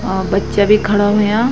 अ बच्चा भी खडा होयां।